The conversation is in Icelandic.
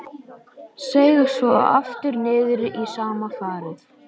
Seig svo aftur niður í sama farið.